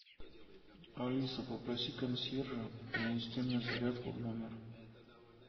алиса попроси консьержа принести мне зарядку в номер